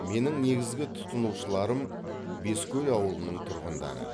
менің негізгі тұтынушыларым бескөл ауылының тұрғындары